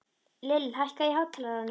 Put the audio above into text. Lill, hækkaðu í hátalaranum.